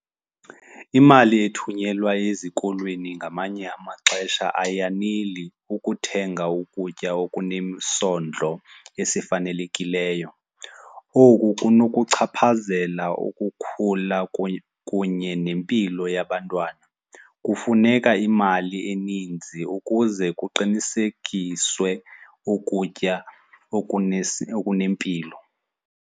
Imali ethunyelwa ezikolweni ngamanye amaxesha ayaneli ukuthenga ukutya okunesondlo esifanelekileyo. Oku kunokuchaphazela ukukhula kunye nempilo yabantwana. Kufuneka imali eninzi ukuze kuqinisekiswe ukutya okunempilo.